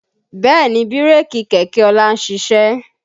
Bẹ́ẹ̀ni bírèkì kẹ̀kẹ́ ọlá ń ṣiṣẹ́